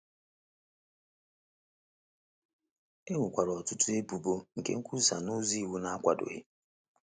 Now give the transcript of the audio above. E nwekwara ọtụtụ ebubo nke nkwusa n’ụzọ iwu na-akwadoghị.